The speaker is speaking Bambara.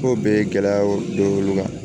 Ko bɛɛ ye gɛlɛyaw don olu kan